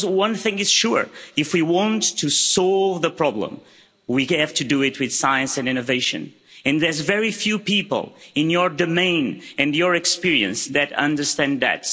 Because one thing is sure if we want to solve the problem, we have to do it with science and innovation, and there's very few people in your domain, and your experience, that understand that.